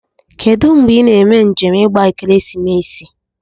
Kedu ngbe ina eme njem igba ekeresimesi?